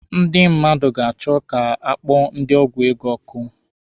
Ndị mmadụ ga-achọ ka a kpọọ ndị ọgwụ ego ọkụ.